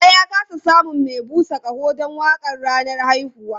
Baba ya ƙasa samun mai busa ƙaho don waƙar ranar haihuwa.